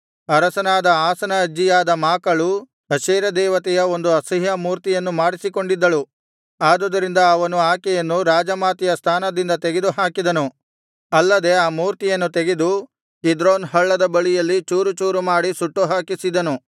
ಅರಸನಾದ ಆಸನ ಅಜ್ಜಿಯಾದ ಮಾಕಳು ಅಶೇರ ದೇವತೆಯ ಒಂದು ಅಸಹ್ಯ ಮೂರ್ತಿಯನ್ನು ಮಾಡಿಸಿಕೊಂಡಿದ್ದಳು ಆದುದರಿಂದ ಅವನು ಆಕೆಯನ್ನು ರಾಜಮಾತೆಯ ಸ್ಥಾನದಿಂದ ತೆಗೆದುಹಾಕಿದನು ಅಲ್ಲದೆ ಆ ಮೂರ್ತಿಯನ್ನು ತೆಗೆದು ಕಿದ್ರೋನ್ ಹಳ್ಳದ ಬಳಿಯಲ್ಲಿ ಚೂರು ಚೂರು ಮಾಡಿ ಸುಟ್ಟುಹಾಕಿಸಿದನು